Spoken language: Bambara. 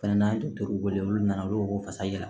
Fɛnɛ natɔ wele olu nana olu ko ko fasa yɛlɛ